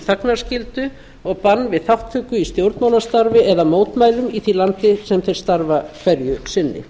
þagnarskyldu og bann við þátttöku í stjórnmálastarfi eða mótmælum í því landi sem þeir starfa hverju sinni